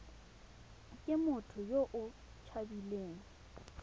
ke motho yo o tshabileng